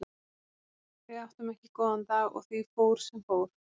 Við áttum ekki góðan dag og því fór sem fór.